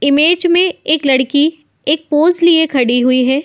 Image में एक लडकी एक पोज़ लिए खड़ी हुई है।